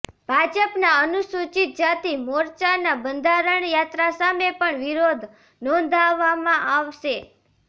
ભાજપના અનુસૂચિત જાતિ મોરચાના બંધારણ યાત્રા સામે પણ વિરોધ નોંધાવવામાં આવશે